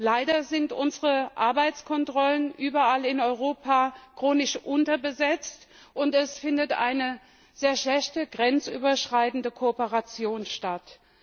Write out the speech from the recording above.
Leider sind unsere Arbeitskontrollen überall in Europa chronisch unterbesetzt, und es findet eine sehr schlechte grenzüberschreitende Kooperation statt.